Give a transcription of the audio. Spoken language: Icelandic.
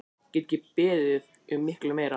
Get ekki beðið um mikið meira!